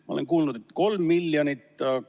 Ma olen kuulnud, et 3 miljonit eurot.